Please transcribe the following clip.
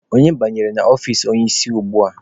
Onye banyere n'ọfici onye isi ugbua?